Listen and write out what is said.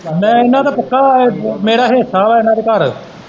ਮੈਂ ਇਹਨਾਂ ਦਾ ਪੱਕਾ ਮੇਰਾ ਹੈ ਇਹਨਾਂ ਦੇ ਘਰ।